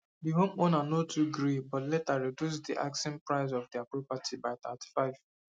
di homeowner no too gree but later reduce di asking price of dia property by thirty five